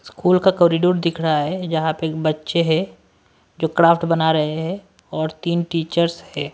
School का corridor दिख रहा है जहां पे बच्चे हैं जो क्राफ्ट बना रहे हैं और तीन टीचर्स हैं।